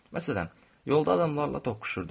Məsələn, yolda adamlarla toxuşurdum.